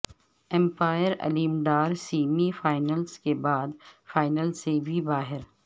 umpire Aleem Dar semi finals کے بعد final سے بھی باہر